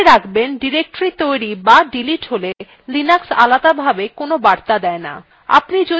মনে রাখবেন directory তৈরী বা ডিলিট হলে লিনাক্স আলাদাভাবে কোনো বার্তা দেয় no